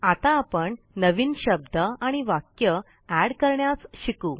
आता आपण नवीन शब्द आणि वाक्य एड करण्यास शिकू